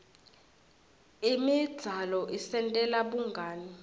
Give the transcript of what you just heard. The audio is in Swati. imidzalo isentela bungani